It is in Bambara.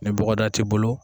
Ni bɔgɔdaa tɛ i bolo